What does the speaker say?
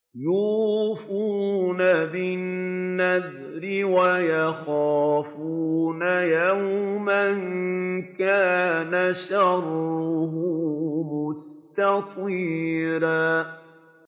يُوفُونَ بِالنَّذْرِ وَيَخَافُونَ يَوْمًا كَانَ شَرُّهُ مُسْتَطِيرًا